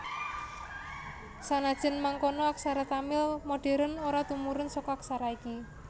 Sanajan mangkono aksara Tamil modhèren ora tumurun saka aksara iki